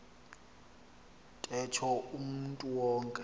ntetho umntu wonke